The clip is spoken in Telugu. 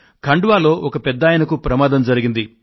ఖండ్ వాలో ఒక పెద్దాయనకు ప్రమాదం జరిగింది